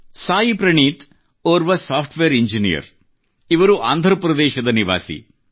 ಸಾಯಿ ಪ್ರಣೀತ್ ಅವರು ಓರ್ವ software engineer ಆಗಿದ್ದಾರೆ ಇವರು ಆಂಧ್ರಪ್ರದೇಶದ ನಿವಾಸಿಯಾಗಿದ್ದಾರೆ